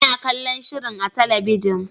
Ina kallon shirin a talabijin.